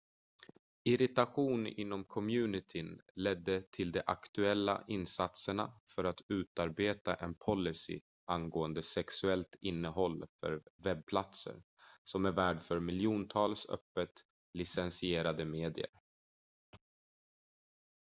irritation inom communityn ledde till de aktuella insatserna för att utarbeta en policy angående sexuellt innehåll för webbplatsen som är värd för miljontals öppet licensierade medier